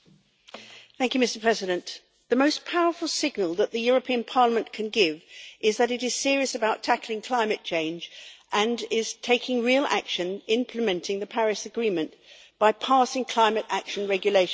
Mr President, the most powerful signal that the European Parliament can give is that it is serious about tackling climate change and is taking real action implementing the Paris Agreement by passing the climate action regulation tomorrow.